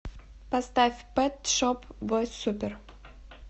поставь пэт шоп бойс супер